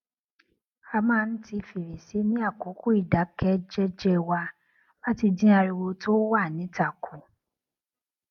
a máa ń ti fèrèsé ní àkókò ìdákẹ jẹjẹ wa láti dín ariwo tó wà níta kù